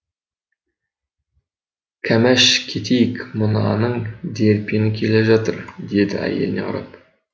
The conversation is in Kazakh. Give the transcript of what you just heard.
кәмәш кетейік мынаның дерпені келе жатыр деді әйеліне қарап